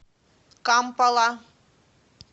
кампала